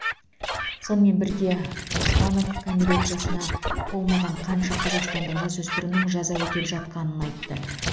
сонымен бірге оспанов кәмелет жасына толмаған қанша қазақстандық жасөспірімнің жаза өтеп жатқанын айтты